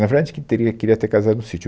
Na verdade, teria, queria ter casado no Sítio.